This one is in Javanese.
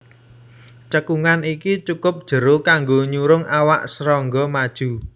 Cekungan iki cukup jero kanggo nyurung awak srangga maju